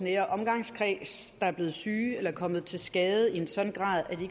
nære omgangskreds der er blevet syge eller er kommet til skade i en sådan grad at de